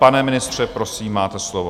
Pane ministře, prosím, máte slovo.